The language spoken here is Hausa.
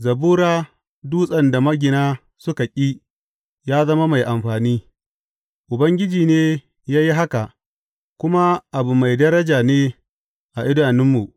Zabura Dutsen da magina suka ƙi ya zama mai amfani; Ubangiji ne ya yi haka, kuma abu mai daraja ne a idanunmu.